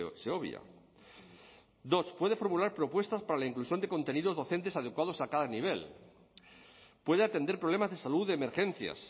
se obvia dos puede formular propuestas para la inclusión de contenidos docentes adecuados a cada nivel puede atender problemas de salud de emergencias